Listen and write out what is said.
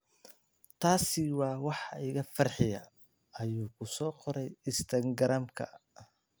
Taasi waa waxa iga farxiya,” ayuu ku soo qoray Instagram-ka.